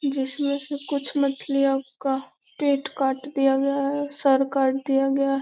जिसमें से कुछ मछलियों का पेट काट दिया गया है सर काट दिया गया है।